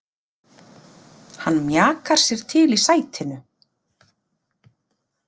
Hann mjakar sér til í sætinu.